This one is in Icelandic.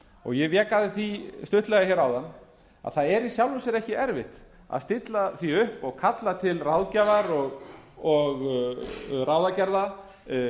ég vek að því aðeins stuttlega áðan að það er í sjálfu sér ekki erfitt að stilla því upp og kalla til ráðgjafar og ráðagerða